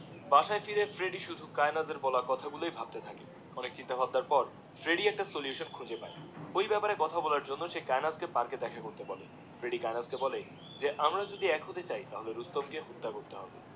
বাসায় ফিরে ফ্রেডি সুদু কায়েনাথের কথা গুলোর গুলোই ভাবতে থাকে অনেক চিন্তা ভাবনার পর ফ্রেডি একটা সলুশন খুঁজে পায়ে ওই বেপারে কথা বলার জন্যে কায়েনাথ কে পার্কে দেখা করতে বলে ফ্রেডি কায়েনাথ কে বলে যে আমরা যদি এক হতে চাই তাহলে রুস্তম কে হত্যা করতে হবে